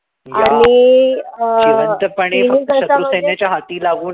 yeah जिवंतपणे फक्त शत्रू सेनेच्या हाती लागू नये